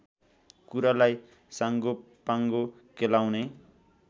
कुरालाई साङ्गोपाङ्गो केलाउने